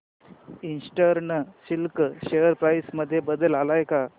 eastern silk share price मध्ये बदल आलाय का